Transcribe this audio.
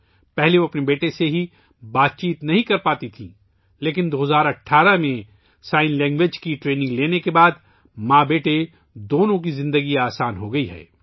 اس سے پہلے وہ اپنے بیٹے سے بات چیت نہیں کر پاتی تھیں لیکن 2018 ء میں اشاروں کی زبان کی تربیت لینے کے بعد ماں بیٹے دونوں کی زندگی آسان ہو گئی ہے